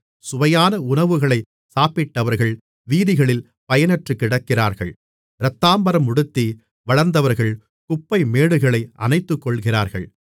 சுவையான உணவுகளைச் சாப்பிட்டவர்கள் வீதிகளில் பயனற்றுக்கிடக்கிறார்கள் இரத்தாம்பரம் உடுத்தி வளர்ந்தவர்கள் குப்பைமேடுகளை அணைத்துக்கொள்கிறார்கள்